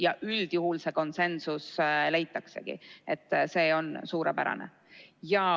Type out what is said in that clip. Ja üldjuhul see konsensus leitaksegi, see on suurepärane.